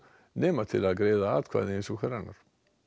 nema til að greiða atkvæði eins og hver annar